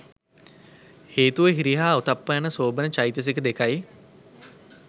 හේතුව හිරි හා ඔත්තප්ප යන සෝබන චෛතසික දෙකයි.